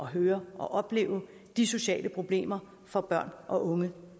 høre og opleve de sociale problemer for børn og unge